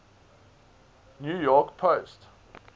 new york post